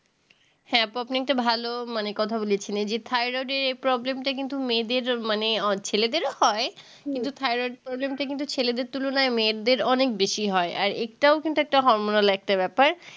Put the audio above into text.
হ্যাঁ আপু আপনি একটা ভালো মানে কথা বলেছেন এই যে thyroid এর এই problem টা কিন্তু মেয়েদের মানে আ ছেলেদেরও হয় কিন্তু thyroid problem টা কিন্তু ছেলেদের তুলনায় মেয়েদের অনেক বেশি হয় আর এটাও কিন্তু একটা hormonal একটা ব্যাপার